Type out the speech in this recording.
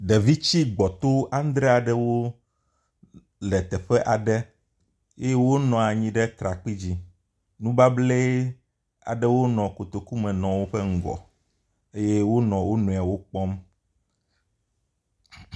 Ɖevi tsi gbɔto aŋdre aɖewo le teƒe aɖe eye wonɔ anyi ɖe trakpi dzi, nubablɛ aɖewo nɔ kotoku me nɔ woƒe eye wo nɔ wonɔɛwo ƒe ŋkume kpɔm.